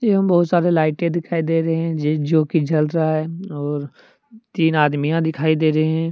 इन बहुत सारे लाइटे दिखाई दे रहे हैं जे जोकि जल रहा है और तीन आदमीयाँ दिखाई दे रहे हैं।